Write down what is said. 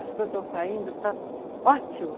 As coisas estão saindo, está ótimo.